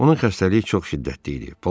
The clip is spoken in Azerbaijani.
Onun xəstəliyi çox şiddətli idi.